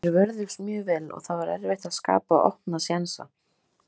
Þeir vörðust mjög vel og það var erfitt að skapa opna sénsa.